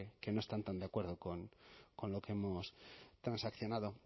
que no están tan de acuerdo con lo que hemos transaccionado